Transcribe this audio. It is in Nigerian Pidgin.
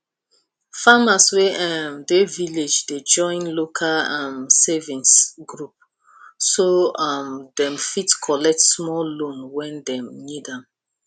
farmers wey um dey village dey join local um savings group so um dem fit collect small loan when dem need am